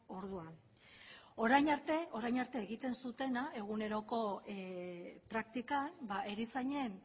orduan orain arte orain arte egiten zutena eguneroko praktikan erizainen